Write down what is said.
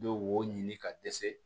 Bɛ wo ɲini ka dɛsɛ